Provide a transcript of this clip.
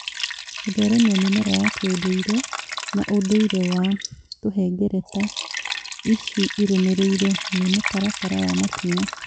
Gũtheremia mĩmera ya kĩũndũire na ũndũire wa tũhengereta ici irũmĩrĩire nĩ mũtaratara wa makinya